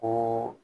Ko